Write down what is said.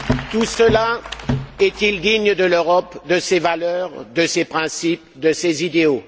Tout cela est il digne de l'Europe, de ses valeurs, de ses principes, de ses idéaux?